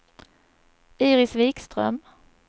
Iris Vikström